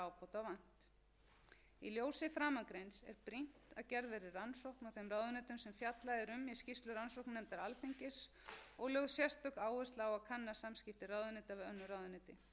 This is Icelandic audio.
að gerð verði rannsókn á þeim ráðuneytum sem fjallað er um í skýrslu rannsóknarnefndar alþingis og lögð sérstök áhersla á að kanna samskipti ráðuneyta við önnur ráðuneyti